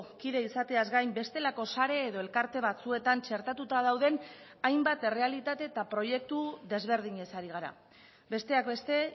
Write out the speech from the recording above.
kide izateaz gain bestelako sare edo elkarte batzuetan txertatuta dauden hainbat errealitate eta proiektu desberdinez ari gara besteak beste